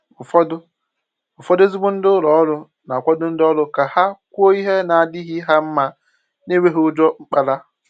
Ụ́fọ̀dụ̀ Ụ́fọ̀dụ̀ ezigbo ndị ụlọ òrụ́ na-akwàdo ndị òrụ́ ka ha kwùò ihe na-adịghị ha mma n’enwèghì ùjọ mkpàrà.